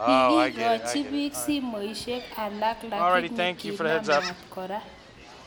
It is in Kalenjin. Kigikachi biik simosyek alak lakini kinam maat kora